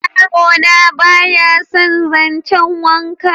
yaro na ba ya san zancen wanka